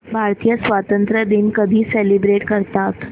भारतीय स्वातंत्र्य दिन कधी सेलिब्रेट करतात